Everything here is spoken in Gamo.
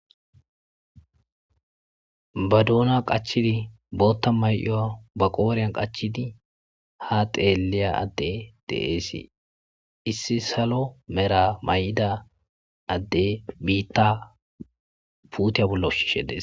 Ba dona qachchidi botta mayyo ba qoriyan qachchidi ha tseelliya adde de'es. Issi salo mera mayida adde biitta puutiya bolla ushishe des.